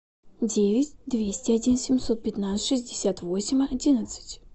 девять двести один семьсот пятнадцать шестьдесят восемь одиннадцать